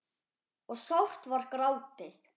og sárt var grátið.